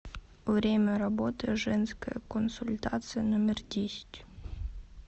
время работы женская консультация номер десять